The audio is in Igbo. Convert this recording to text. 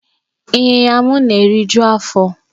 Ịnyinya m na-eriju afọ.